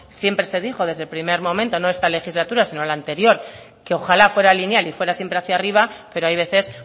siempre se dijo desde el primer momento no en esta legislatura sino en la anterior que ojala fuera lineal y fuera siempre hacia arriba pero hay veces